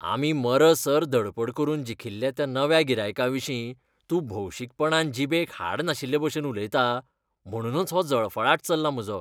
आमी मरसर धडपड करून जिखिल्ल्या त्या नव्या गिरायकाविशीं तूं भौशीकपणान जीबेक हाड नाशिल्लेभशेन उलयता. म्हणूनच हो जळफळाट चल्ला म्हजो.